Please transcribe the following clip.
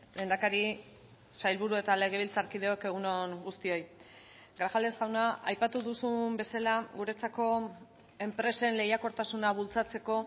lehendakari sailburu eta legebiltzarkideok egun on guztioi grajales jauna aipatu duzun bezala guretzako enpresen lehiakortasuna bultzatzeko